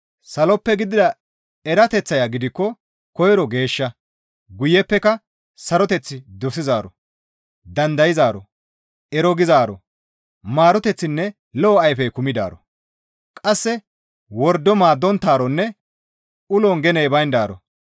Saloppe gidida erateththaya gidikko koyro geeshsha; guyeppeka saroteth dosizaaro, dandayzaaro, ero gizaaro, maaroteththinne lo7o ayfey kumidaaro; qasse wordo maaddonttaaronne ulon geney bayndaaro.